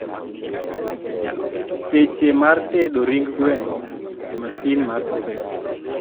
seche mar tedo ring gweno e masin mar oven